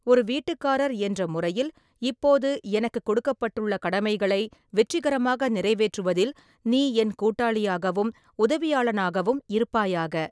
ஒரு வீட்டுக்காரர் என்ற முறையில் இப்போது எனக்குக் கொடுக்கப்பட்டுள்ள கடமைகளை வெற்றிகரமாக நிறைவேற்றுவதில் நீ என் கூட்டாளியாகவும் உதவியாளனாகவும் இருப்பாயாக.